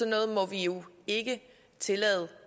noget må vi jo ikke tillade